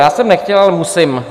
Já jsem nechtěl, ale musím.